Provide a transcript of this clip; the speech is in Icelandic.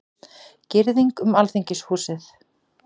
Girðing um Alþingishúsið